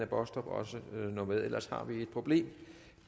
baastrup også nå med ellers har vi et problem